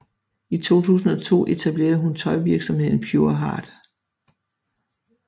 I 2002 etablerede hun tøjvirksomheden Pureheart